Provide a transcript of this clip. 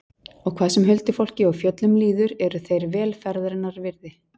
Og hvað sem huldufólki og fjöllum líður eru þeir vel ferðarinnar virði.